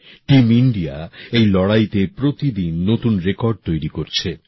team India এই লড়াইতে প্রতিদিন নতুন রেকর্ড তৈরি করছে